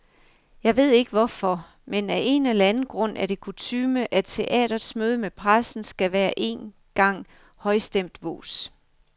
Jeg ved ikke hvorfor, men af en eller anden grund er det kutyme, at teatrets møde med pressen skal være en gang højstemt vås.